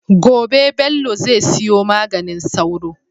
Gobe Bello zai siyo maganin sauro